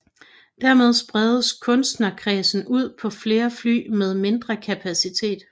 Dermed spredes kundekredsen ud på flere fly med mindre kapacitet